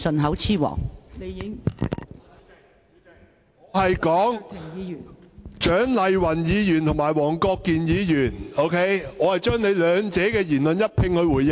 代理主席，我剛才只是就蔣麗芸議員和黃國健議員的言論一併回應。